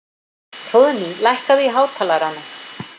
Hróðný, lækkaðu í hátalaranum.